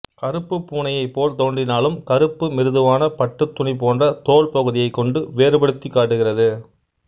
கருப்பு பூனையைப் போல் தோன்றினாலும் கருப்பு மிருதுவான பட்டுத் துணி போன்ற தோல் பகுதியைக் கொண்டு வேறுபடுத்திக் காட்டுகிறது